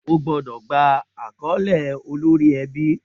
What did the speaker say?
O gbọ́dọ̀ gba àkọ́lé olórí ẹbí.